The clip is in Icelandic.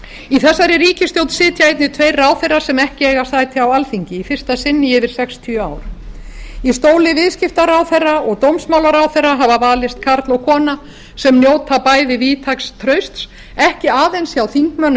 í þessari ríkisstjórn sitja einnig tveir ráðherrar sem ekki eiga sæti á alþingi í fyrsta sinn í yfir sextíu ár í stóli viðskiptaráðherra og dómsmálaráðherra hafa valist karl og kona sem njóta bæði víðtæks trausts ekki aðeins hjá þingmönnum